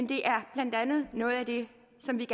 det er blandt andet noget af det